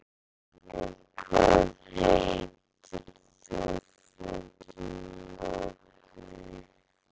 Hallgunnur, hvað heitir þú fullu nafni?